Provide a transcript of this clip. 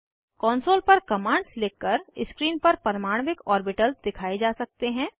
console पर commands लिख कर स्क्रीन पर परमाण्विक ऑर्बिटल्स दिखाए जा सकते हैं